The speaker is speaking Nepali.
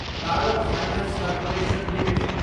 power finance corporation Ltd